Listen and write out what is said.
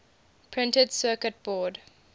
printed circuit board